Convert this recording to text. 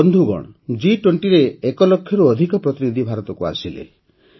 ବନ୍ଧୁଗଣ ଜି୨୦ ରେ ଏକ ଲକ୍ଷରୁ ଅଧିକ ପ୍ରତିନିଧି ଭାରତକୁ ଆସିଲେ